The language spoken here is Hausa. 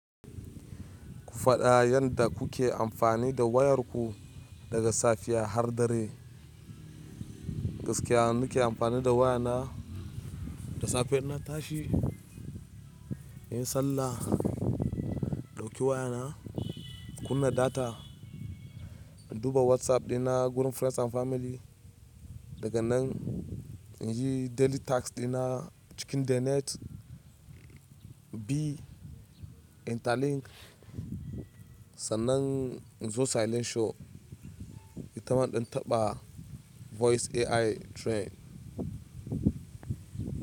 Ku faɗa yanda kuke amfani da wayarku daga safiya har dare. Gaskiya nike amfani da waya na, da safe ina tashi, in yi sallah, ɗauki waya na, kunna data, in duba WhatsApp ɗina gurin friends and family. Daga nan in yi daily tasks ɗina cikin the net. Bi Interlink. Sannan in zo silent show, in ta ma in taɓa voice AI trend.